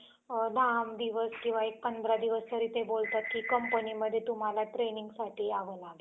अनुषंगाने केंद्र सरकार विविध उपक्रम राबवत आहे. PM Shri योजना याचाच एक भाग आहे. गत वर्षीच्या शिक्षक दिनी पंतप्रधान नरेंद्र मोदी